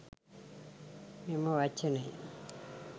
මෙම වචනය